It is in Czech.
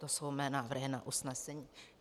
To jsou mé návrhy na usnesení.